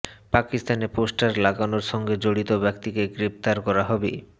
পাকিস্তানে পোস্টার লাগানোর সঙ্গে জড়িত ব্যক্তিকে গ্রেফতার করা হবে